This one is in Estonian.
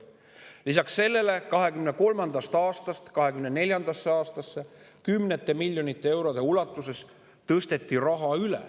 Lisaks sellele tõsteti 2023. aastast 2024. aastasse üle kümneid miljoneid eurosid.